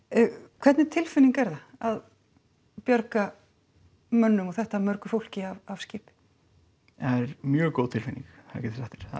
hvernig tilfinning er það að bjarga mönnum og þetta mörgu fólki af skipi það er mjög góð tilfinning það